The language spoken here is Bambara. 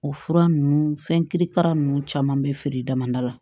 O fura ninnu fɛn kirikara ninnu caman be feere damadɔ la